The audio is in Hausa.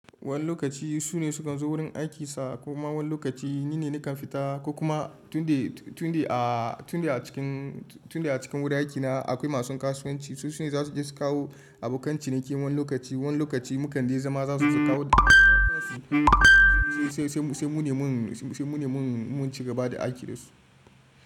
Wani lokaci su ne sukan zo wurin aikinsa kuma wani lokaci ni ne nakan fita ko kuma tun dai a cikin wuri aikina akwai masu kasuwanci su su ne za su je su kawo abokan ciniki wani lokaci. Wani lokaci mu kande zama za su kawo da kayan kasuwanci sai mu ne mun cigaba da aiki da su.